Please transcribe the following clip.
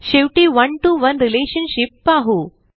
शेवटी one to one relationship पाहू